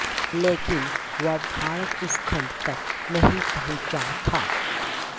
लैकिन वह भारत उपखन्ड तक नहीं पहुन्चा था